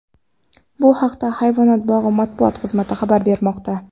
Bu haqda hayvonot bog‘i matbuot xizmati xabar bermoqda .